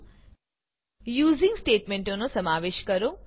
using યુજીંગસ્ટેટમેંટનો સમાવેશ કરો